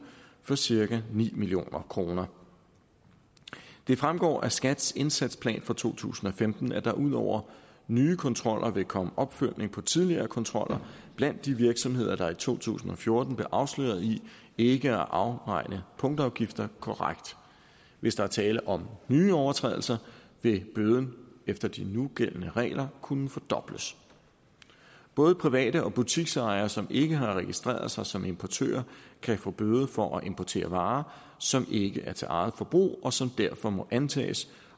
for cirka ni million kroner det fremgår af skats indsatsplan for to tusind og femten at der ud over nye kontroller vil komme opfølgning på tidligere kontroller blandt de virksomheder der i to tusind og fjorten blev afsløret i ikke at afregne punktafgifter korrekt hvis der er tale om nye overtrædelser vil bøden efter de nugældende regler kunne fordobles både private og butiksejere som ikke har registreret sig som importører kan få en bøde for at importere varer som ikke er til eget forbrug og som derfor må antages